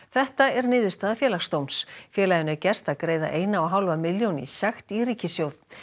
þetta er niðurstaða Félagsdóms félaginu er gert að greiða eina og hálfa milljón í sekt í ríkissjóð